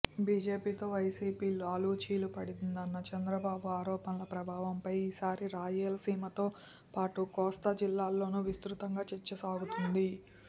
బీజేపీతో వైసీపీ లాలూచీ పడిందన్న చంద్రబాబు ఆరోపణల ప్రభావంపై ఈసారి రాయలసీమతో పాటు కోస్తా జిల్లాలోనూ విస్తృతంగా చర్చ సాగుతోంది